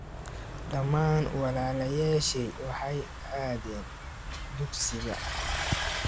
Dhammaan walaalayashey waxay aadeen dugsiga.